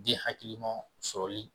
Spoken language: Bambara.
Den hakilima sɔrɔli